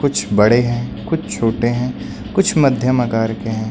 कुछ बड़े हैं कुछ छोटे हैं कुछ मध्यम आकार के हैं।